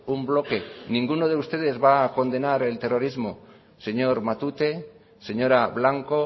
un bloque ninguno de ustedes va a condenar el terrorismo señor matute señora blanco